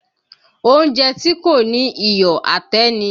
Oúnjẹ tí kò ní iyọ̀ àtẹ́ ni